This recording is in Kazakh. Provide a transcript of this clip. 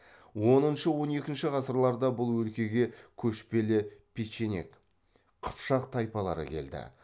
оныншы он екінші ғасырларда бұл өлкеге көшпелі печенег қыпшақ тайпалары келді